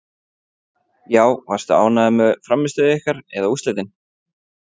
Já Varstu ánægður með frammistöðu ykkar eða úrslitin?